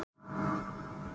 Breiðdalsvík